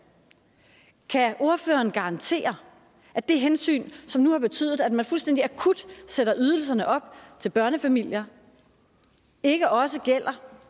kan ordføreren garantere at det hensyn som nu har betydet at man fuldstændig akut sætter ydelserne op til børnefamilierne ikke også gør